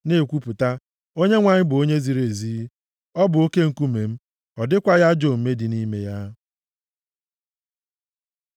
na-ekwupụta, “ Onyenwe anyị bụ Onye ziri ezi; ọ bụ Oke Nkume m, ọ dịkwaghị ajọ omume dị nʼime ya.”